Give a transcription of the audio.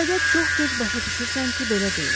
Fəqət çox gec başa düşürsən ki belə deyil.